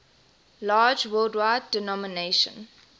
large worldwide denomination